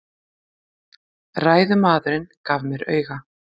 Ræðumaðurinn gaf mér auga.